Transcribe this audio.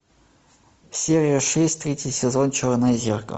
серия шесть третий сезон черное зеркало